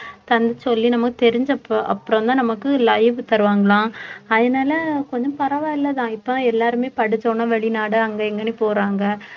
உட்காந்து சொல்லி நமக்கு தெரிஞ்சப்ப அப்புறம்தான் நமக்கு live தருவாங்கலாம் அதனால கொஞ்சம் பரவாயில்லைதான் இப்ப தான் எல்லாருமே படிச்ச உடனே வெளிநாடு அங்க இங்கன்னு போறாங்க